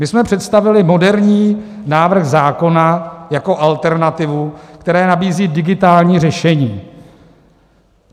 My jsme představili moderní návrh zákona jako alternativu, která nabízí digitální řešení.